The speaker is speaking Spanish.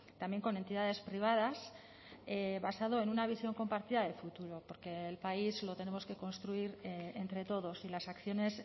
también con entidades privadas basado en una visión compartida de futuro porque el país lo tenemos que construir entre todos y las acciones